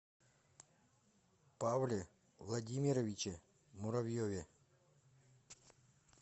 павле владимировиче муравьеве